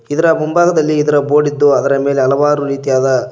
ಇದರ ಮುಂಭಾಗದಲ್ಲಿ ಇದರ ಬೋರ್ಡ್ ಇದ್ದು ಅದರ ಮೇಲೆ ಹಲವಾರು ರೀತಿಯಾದ --